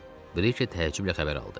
Brike təəccüblə xəbər aldı.